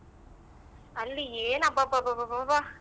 ಅಲ್ಲಿ ಏನ್ ಅಬ್ಬಬ್ಬಬಬಬ.